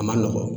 A ma nɔgɔ